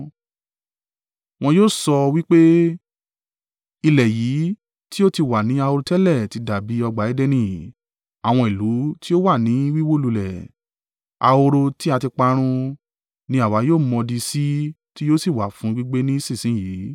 Wọn yóò sọ wí pé, “Ilẹ̀ yìí tí ó ti wà ní ahoro tẹ́lẹ̀ ti dàbí ọgbà Edeni; àwọn ìlú tí ó wà ní wíwó lulẹ̀, ahoro tí a ti parun, ni àwa yóò mọdi sí tí yóò sì wà fún gbígbé ni ìsinsin yìí.”